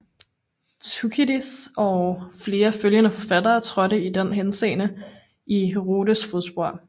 Thukydides og flere følgende forfattere trådte i den henseende i Herodots fodspor